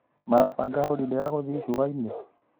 Marabanga holidĩ ya gũthiĩ icuanĩ?